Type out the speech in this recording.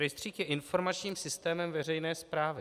Rejstřík je informačním systémem veřejné správy.